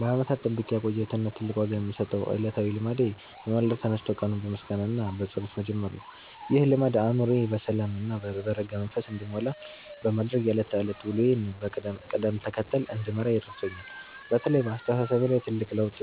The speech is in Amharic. ለዓመታት ጠብቄ ያቆየሁት እና ትልቅ ዋጋ የምሰጠው ዕለታዊ ልማዴ በማለዳ ተነስቶ ቀኑን በምስጋና እና በጸሎት መጀመር ነው። ይህ ልማድ አእምሮዬ በሰላም እና በረጋ መንፈስ እንዲሞላ በማድረግ የዕለት ተዕለት ውሎዬን በቅደም ተከተል እንድመራ ረድቶኛል። በተለይ በአስተሳሰቤ ላይ ትልቅ ለውጥ